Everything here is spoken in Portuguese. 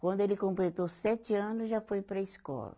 Quando ele completou sete anos, já foi para a escola.